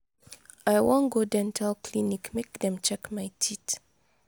i wan go dental clinic make dem check my teeth.